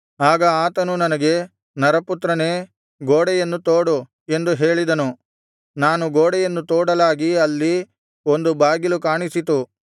ಆಗ ಆತನು ನನಗೆ ನರಪುತ್ರನೇ ಗೋಡೆಯನ್ನು ತೋಡು ಎಂದು ಹೇಳಿದನು ನಾನು ಗೋಡೆಯನ್ನು ತೋಡಲಾಗಿ ಅಲ್ಲಿ ಒಂದು ಬಾಗಿಲು ಕಾಣಿಸಿತು